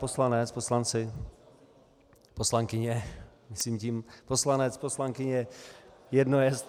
Poslanec, poslanci, poslankyně, myslím tím poslanec, poslankyně jedno jest.